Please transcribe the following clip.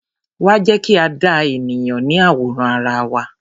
Wá, jẹ́ kí a dá ènìyàn ní àwòrán ara wa.